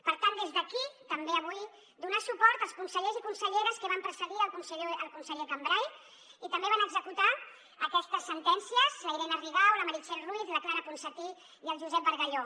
per tant des d’aquí també avui donar suport als consellers i conselleres que van precedir el conseller cambray i també van executar aquestes sentències la irene rigau la meritxell ruiz la clara ponsatí i el josep bargalló